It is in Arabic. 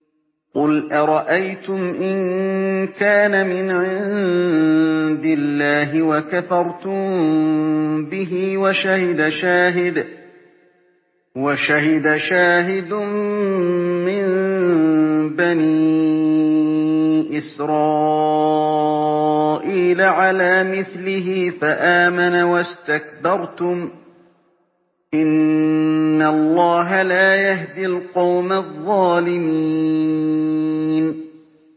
قُلْ أَرَأَيْتُمْ إِن كَانَ مِنْ عِندِ اللَّهِ وَكَفَرْتُم بِهِ وَشَهِدَ شَاهِدٌ مِّن بَنِي إِسْرَائِيلَ عَلَىٰ مِثْلِهِ فَآمَنَ وَاسْتَكْبَرْتُمْ ۖ إِنَّ اللَّهَ لَا يَهْدِي الْقَوْمَ الظَّالِمِينَ